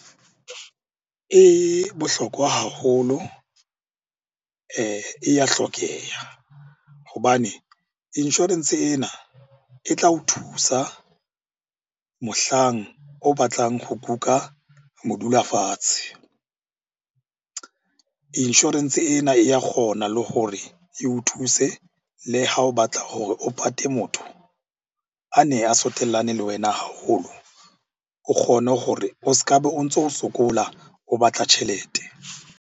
E bohlokwa haholo e ya hlokeha hobane insurance ena e tla o thusa mohlang o batlang ho kuka modula fatshe. Insurance ena e ya kgona le gore eo thuse le ha o batla hore o pate motho a ne a le wena haholo o kgone hore o s'ka be o ntso o sokola o batla tjhelete.